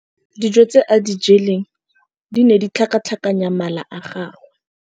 Dijô tse a di jeleng di ne di tlhakatlhakanya mala a gagwe.